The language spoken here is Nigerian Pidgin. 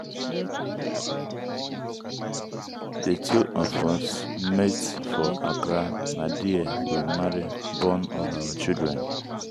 the two of us meet for accra na there we marry born all our children.